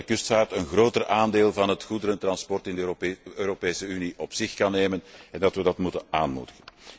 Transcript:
Ik denk dat de kustvaart een groter aandeel van het goederentransport in de Europese Unie op zich kan nemen en dat we dat moeten aanmoedigen.